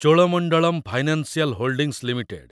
Cholamandalam financial holdings limited